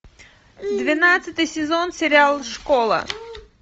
двенадцатый сезон сериал школа